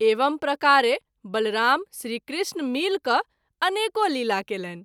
एवं प्रकारे बलराम श्री कृष्ण मिलि क’ अनेको लीला कएलनि।